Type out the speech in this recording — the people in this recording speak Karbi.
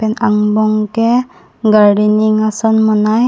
pen angbong ke gardening ason monai.